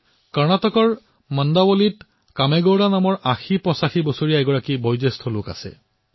কৰ্ণাটকৰ মণ্ডাৱলীত কামেগোড়া নামৰ এজন ৮০৮৫ বছৰীয়া বৃদ্ধই বাস কৰে